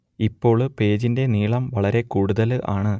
ഇപ്പോൾ പേജിന്റെ നീളം വളരെ കൂടുതൽ ആണ്